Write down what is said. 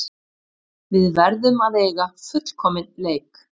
Við verðum að eiga fullkominn leik